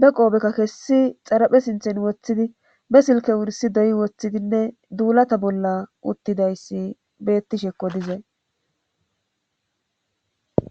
be qoobekka kessi xaraphe sinthen woththidi be silke wursi doy woththidinne duulata bolla uttidayssi bettishekko dizay